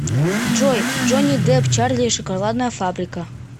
джой джони деп чарли и шоколадная фабрика